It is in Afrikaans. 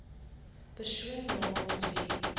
persoon namens wie